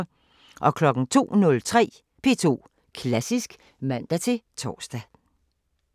02:03: P2 Klassisk (man-tor)